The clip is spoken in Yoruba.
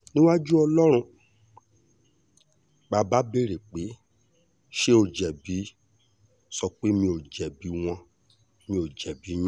níwájú ọlọ́run tí ọlọ́run bá béèrè pé ṣé ó jẹ̀bi sọ pé mi ò jẹ̀bi wọn mi ò jẹ̀bi yín